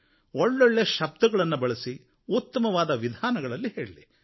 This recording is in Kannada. ಒಳ್ಳೊಳ್ಳೆ ಶಬ್ದಗಳನ್ನು ಬಳಸಿ ಉತ್ತಮವಾದ ವಿಧಾನಗಳಲ್ಲಿ ಹೇಳಲಿ